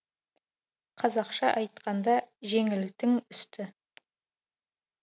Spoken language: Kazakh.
қазақша айтқанда жеңілтің үсті